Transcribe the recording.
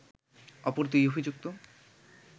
অপর দুই অভিযুক্ত